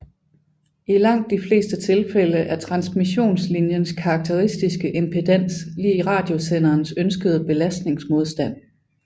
I langt de fleste tilfælde er transmissionslinjens karakteristiske impedans lig radiosenderens ønskede belastningsmodstand